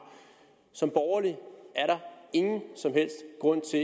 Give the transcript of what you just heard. som borgerlig er der ingen som helst grund til